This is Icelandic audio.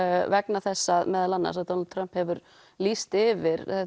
vegna þess meðal annars að Donald Trump hefur lýst yfir